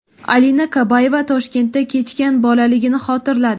Alina Kabayeva Toshkentda kechgan bolaligini xotirladi.